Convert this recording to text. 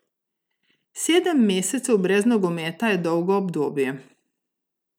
Sedem mesecev brez nogometa je dolgo obdobje.